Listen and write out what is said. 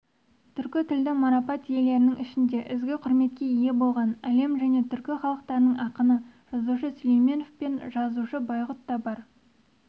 түркі тілді марапат иелерінің ішінде ізгі құрметке ие болған әлем және түркі халықтарының ақыны жазушы сүлейменов пен жазушы байғұт та бар